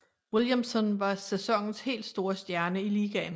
Williamson var sæsonens helt store stjerne i ligaen